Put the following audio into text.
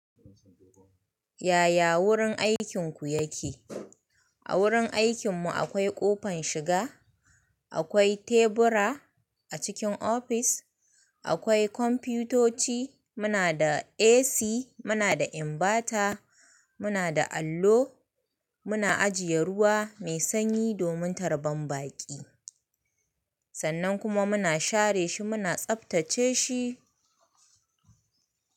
Yaya wurin aikin ku yake? A wurin aikin mu akwai ƙofan shiga, akwai tebura a cikin office, akwai komputoci, muna da AC, muna da inverter, muna da allo, muna ajiye ruwa mai sanyi domin tarban baƙi. Sannan kuma muna share shi, muna tsaftace shi.